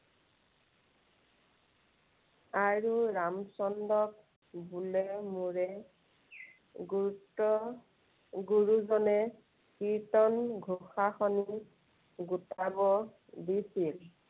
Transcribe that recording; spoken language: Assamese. আৰু ৰামচন্দ্ৰক বোলে মোৰে গুৰুত্ব গুৰুজনে কীৰ্ত্তনঘোষাখিনি গোটাব দিছিল।